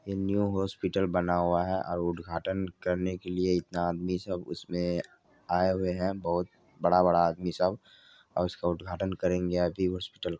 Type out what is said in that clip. ये new hospital बना हुआ है और उद्घाटन करने के लिए इतना आदमी सब इसमें आए हुए है बहोत बड़ा-बड़ा आदमी सब और उसका उद्घाटन करेंगे आगे हॉस्पिटल --